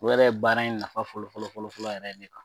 O yɛrɛ ye baara in nafa fɔlɔ fɔlɔ fɔlɔ fɔlɔ yɛrɛ de kan.